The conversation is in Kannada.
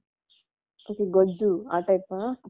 Okay ಗೊಜ್ಜು ಆ type ಅ?